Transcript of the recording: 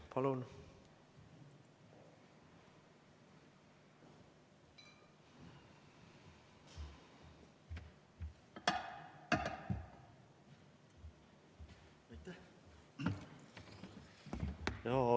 Palun!